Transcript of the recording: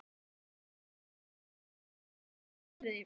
Soffía, verður þetta mikið votviðri?